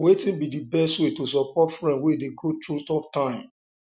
wetin be di best way to support friend um wey dey um go through tough time